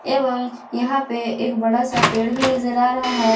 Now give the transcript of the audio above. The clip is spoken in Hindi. एवं यहां पे एक बड़ा सा पेड़ भी नजर आ रहा है।